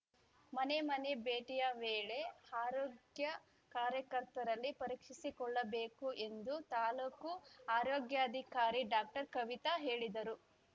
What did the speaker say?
ಮನೆ ಮನೆ ಭೇಟಿಯ ವೇಳೆ ಆರೋಗ್ಯ ಕಾರ್ಯಕರ್ತರಲ್ಲಿ ಪರೀಕ್ಷಿಸಿಕೊಳ್ಳಬೇಕು ಎಂದು ತಾಲೂಕು ಆರೋಗ್ಯಾಧಿಕಾರಿ ಡಾಕ್ಟರ್ ಕವಿತ ಹೇಳಿದರು